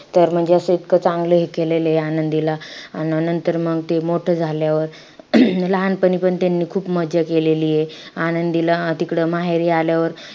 तर म्हणजे इतकं असं चांगलं हे केलेलयं आनंदीला. अन नंतर मंग ते मोठं झाल्यावर लहानपणीपण त्यांनी खूप मज्जा केलेलीयं. आनंदीला तिकडं माहेरी आल्यावर,